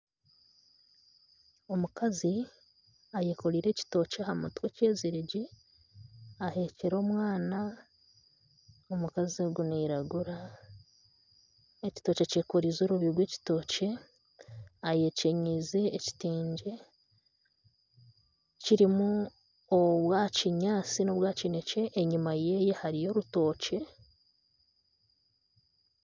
Omukazi ayekoreire ekitookye ahamutwe kyeziregye ahekyire omwana omukazi ogu nairagura ekitookye akyekoreize orurere rw'ekitookye ayekyenyize ekitengye kirumu obwa'kinyantsi nobwa'kinekye enyuma ye hariyo orutookye.